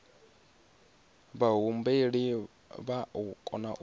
vhahumbeli vha o kona u